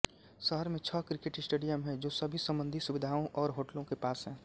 शहर में छह क्रिकेट स्टेडियम हैं जो सभी संबंधित सुविधाओं और होटलों के पास हैं